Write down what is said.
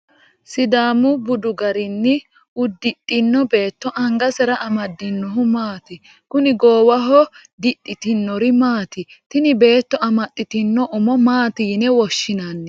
sidaamu budu garinni uddidhino beetto angasera amaddinohu maati? kuni goowaho didhitinori maati? tini beetto amaxitino umo maati yine woshshinanni ?>